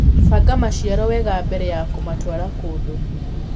Banga maciaro wega mbere ya kũmatwara kũndũ.